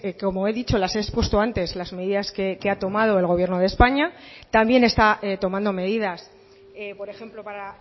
como he dicho las he expuesto antes las medidas que ha tomado el gobierno de españa también está tomando medidas por ejemplo para